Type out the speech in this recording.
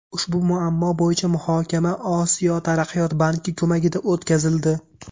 Ushbu muammo bo‘yicha muhokama Osiyo taraqqiyot banki ko‘magida o‘tkazildi.